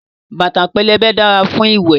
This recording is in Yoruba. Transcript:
Bàtà pẹlẹbẹ dára fún ìwẹ̀.